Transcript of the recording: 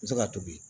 N bɛ se ka tobi